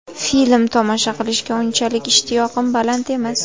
Film tomosha qilishga unchalik ishtiyoqim baland emas.